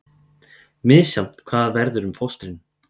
Misjafnt hvað verður um fóstrin